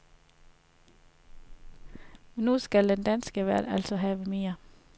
Men nu skal den danske vært altså have mere.